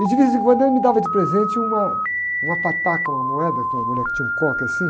E de vez em quando ele me dava de presente uma, uma pataca, uma moeda, com uma mulher que tinha um coque assim.